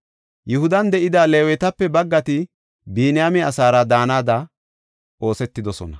Yihudan de7ida Leewetape baggati Biniyaame asaara daanada oosetidosona.